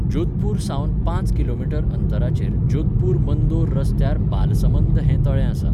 जोधपूर सावन पांच किलोमीटर अंतराचेर जोधपूर मंदोर रस्त्यार बालसमंद हें तळें आसा.